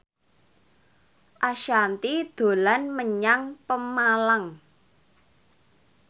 Ashanti dolan menyang Pemalang